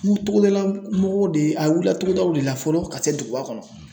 N ko togodalamɔgɔw de a wulila togodaw de la fɔlɔ ka se duguba kɔnɔ .